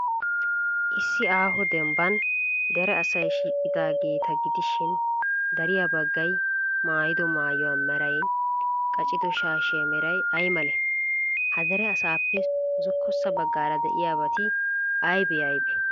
Issi aaho dembban dere asay shiiqidaageeta gidishin, dariya baggay maayido maayuwa meraynne qacido shaashiya meray ay malee? Ha dere asaappee zokkossa baggaara de'iyabati aybee aybee?